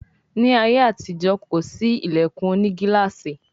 Ní àyè àti ìjọ kọ sí ilẹkùn òní gilaasi.